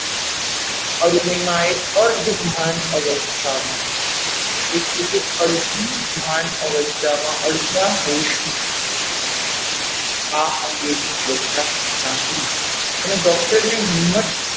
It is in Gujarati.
અરુણીમાંએ અર્ધભાન અવસ્થામાં એટલે કે અડધી ભાન અવસ્થામાં અડધા હોશ માં આ અંગેની ચર્ચા સાંભળી પણ એ doctor ને હિંમત,